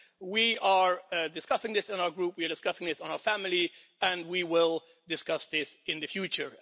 We are discussing this in our Group, we are discussing this in our family, and we will discuss this in the future.